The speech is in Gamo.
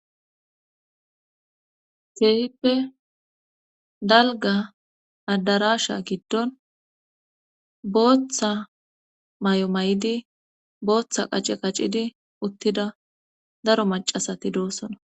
teehippe dalga adarasha giddon booththa may'o mayidi booththa qace qaccidi uttida daro macasati doosona.